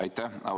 Aitäh!